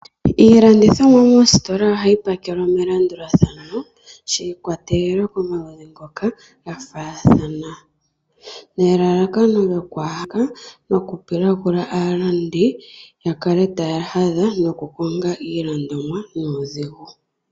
Iilandithomwa moositola ohayi pakelwa melandulathano shi ikwatelela komaludhi ngoka ga faathana, nelalakano lyokwa ha pilagula aalandi ya kale taya hadha nokukonga iilandomwa nuudhigu.